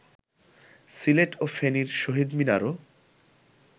সিলেট ও ফেনীর শহীদ মিনারও